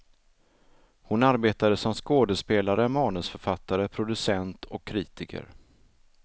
Hon arbetade som skådespelare, manusförfattare, producent och kritiker.